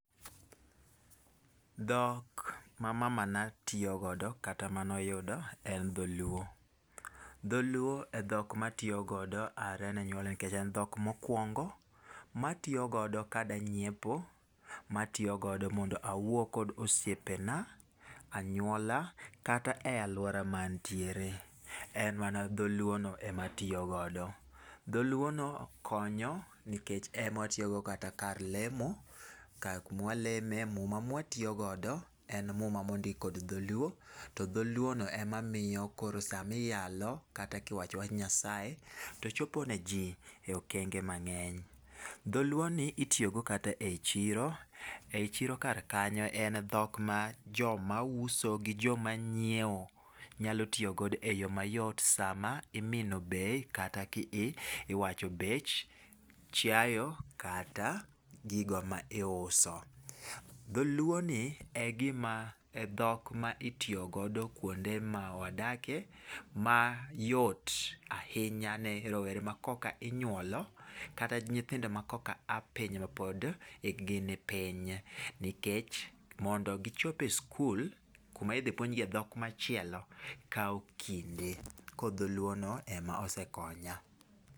Dhok ma mamana tiyo godo kata manoyudo en dholuo. Dholuo e dhok matiyo godo are ne nyuolna nikech en dhok mokuongo matiyo godo kadwa nyiepo, matiyo godo mondo awuo godo gosiepena, anyuola kata e aluora ma antiere en mana dholuono ema atiyo godo. Dholuono konyo nikech ema watiyogo kata kar lemo, kama waleme muma ma watiyo godo, en muma mondik kod dholuo, to dholuono ema miyo koro sama iyalo kata kiwacho wach Nyasaye to chopo niji e okenge mang'eny. Dholuoni itiyo godo kata ei chiro, ei chiro kar kanyo en dhok ma joma uso gi joma nyiewo nyalo tiyo godo eyo mayot sama imino bei kata kiwach bech chiayo kata gigo ma iuso. Dholuoni e gima e dhok mitiyo godo kuonde ma wadakie mayot ahinya ne rowere ma kokinyuolo kata nyithindo ma koka aa piny mapod ikgi ni piny nikech mondo gichop e skul kuma idhi puonj giye dhok machielo kawo kinde. Koro dholuono ema osekonya.